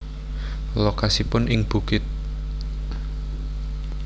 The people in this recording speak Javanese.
Lokasipun ing bukit